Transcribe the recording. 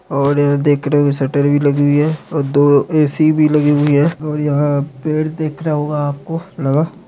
और यह देख रहे होंगे शटर भी लगी हुई है और दो ए_सी भी लगी हुई है और यहां पेड़ देख रहा होगा लगा।